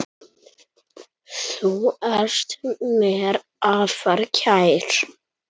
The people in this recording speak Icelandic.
Þú ert mér afar kær.